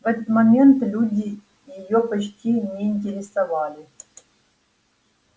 в этот момент люди её почти не интересовали